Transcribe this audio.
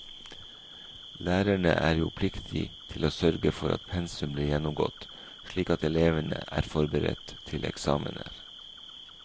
Lærerne er jo pliktig til å sørge for at pensum blir gjennomgått slik at elevene er forberedt til eksamener.